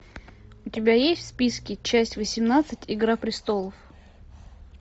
у тебя есть в списке часть восемнадцать игра престолов